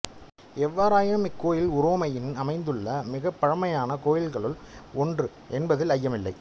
எவ்வாறாயினும் இக்கோவில் உரோமையில் அமைந்துள்ள மிகப்பழமையான கோவில்களுள் ஒன்று என்பதில் ஐயமில்லை